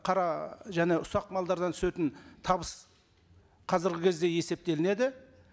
қара және ұсақ малдардан түсетін табыс қазіргі кезде есептелінеді